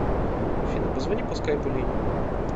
афина позвони по скайпу лене